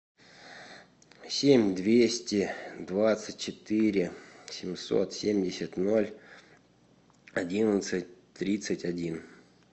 семь двести двадцать четыре семьсот семьдесят ноль одиннадцать тридцать один